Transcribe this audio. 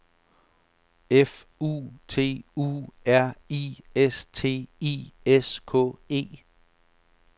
F U T U R I S T I S K E